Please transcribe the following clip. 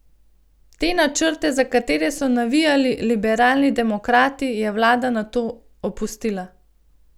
Te načrte, za katere so navijali liberalni demokrati, je vlada nato opustila.